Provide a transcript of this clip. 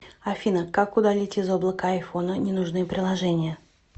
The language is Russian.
афина как удалить из облака айфона ненужные приложения